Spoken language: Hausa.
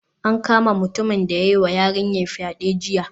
An kama mutumin da ya yiwa yarinyar fyade jiya